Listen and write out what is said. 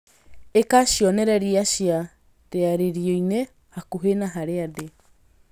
ĩka cionereria cia rĩarĩrio-inĩ hakuhĩ na harĩa ndĩ